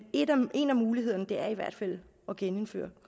en af mulighederne er i hvert fald at genindføre